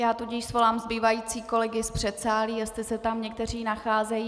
Já tudíž svolám zbývající kolegy z předsálí, jestli se tam někteří nacházejí.